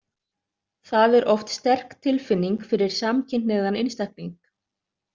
Það er oft sterk tilfinning fyrir samkynhneigðan einstakling.